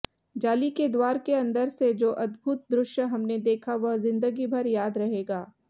जाली के द्वार के अंदर से जो अद्भुत दृश्य हमने देखा वह जिंदगीभर याद रहेगा